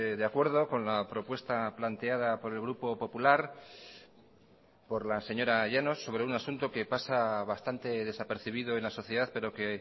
de acuerdo con la propuesta planteada por el grupo popular por la señora llanos sobre un asunto que pasa bastante desapercibido en la sociedad pero que